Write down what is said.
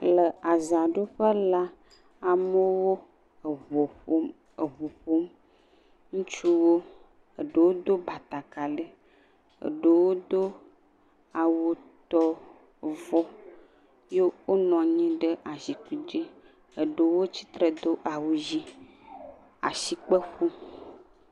Le azã ɖuƒe la amewo ʋu ƒom. Ŋutsuwo, eɖewo do batakali, eɖewo do awu tɔ avɔ ye wonɔ anyi ɖe zikpui dzi, eɖewo tsitre do awu ɣi, woa sikpe ƒɔm.